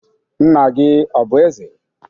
Nna gị ọ bụ eze?